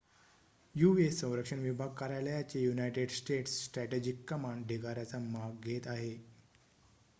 US. संरक्षण विभाग कार्यालयाचे युनाइटेड स्टेट्स स्ट्रॅटेजिक कमांड ढिगाऱ्याचा माग घेत आहे